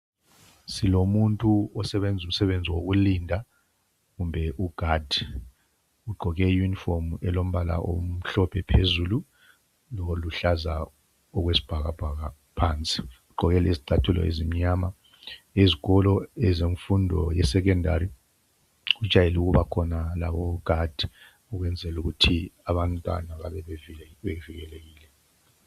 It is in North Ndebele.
Silomuntu osebenza umsebenzi wokulinda kumbe ugadi ugqoke iyunifomu elombala omhlophe phezulu loluhlaza okwesibhakabhaka phansi. Ugqoke lezicathulo ezimnyama. Izikolo ezemfundo yesecondary kujayele ukubakhona labo ogadi ukwenzela ukuthi abantwana babe bevikelekile